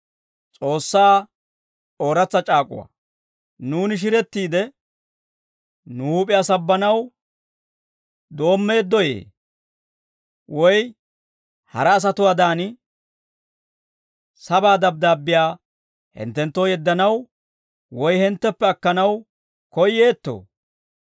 Nuuni shirettiide, nu huup'iyaa sabbanaw doommeeddoyee? Woy hara asatuwaawaadan, sabaa dabddaabbiyaa hinttenttoo yeddanaw woy hintteppe akkanaw koyyeettoo?